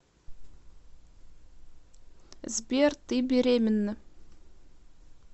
сбер ты беременна